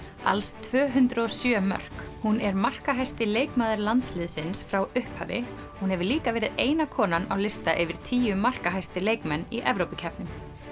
alls tvö hundruð og sjö mörk hún er markahæsti leikmaður landsliðsins frá upphafi hún hefur líka verið eina konan á lista yfir tíu markahæstu leikmenn í Evrópukeppnum